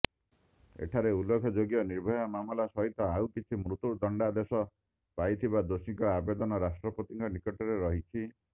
ଏଠାରେ ଉଲ୍ଲେଖଯୋଗ୍ୟ ନିର୍ଭୟା ମାମଲା ସହିତ ଆଉକିଛି ମୃତ୍ୟୁଦଣ୍ଡାଦେଶ ପାଇଥିବା ଦୋଷୀଙ୍କ ଆବେଦନ ରାଷ୍ଟ୍ରପତିଙ୍କ ନିକଟରେ ରହିଛି